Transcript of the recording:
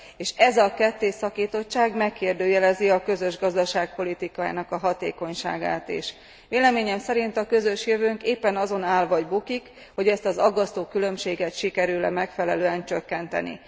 És ez a kettészakítottság megkérdőjelezi a közös gazdaságpolitika hatékonyságát is. Véleményem szerint a közös jövőnk éppen azon áll vagy bukik, hogy ezt az aggasztó különbséget sikerül e megfelelően csökkenteni.